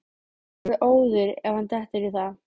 Hann verður óður ef hann dettur í það!